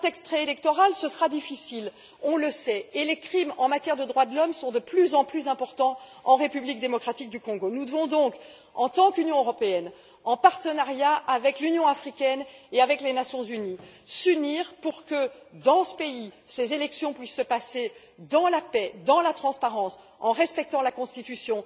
Dans un contexte préélectoral, ce sera difficile, on le sait, et les crimes en matière de droits de l'homme sont de plus en plus importants en République démocratique du Congo. Nous devons donc en tant qu'Union européenne, en partenariat avec l'Union africaine et avec les Nations unies, nous unir pour que les élections dans ce pays puissent se passer dans la paix, dans la transparence, en respectant la Constitution,